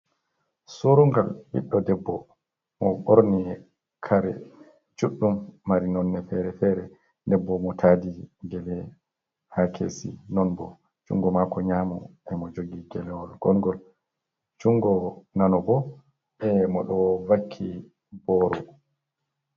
Surungal ɓiɗɗo debbo mo ɓorni kare juɗɗum mari nonne fere-fere. Debbo mo tadi gele ha kesi, non bo jungo mako nyamu e mo jogi gelewol ngongol. jungo nano bo e mo do vakki boro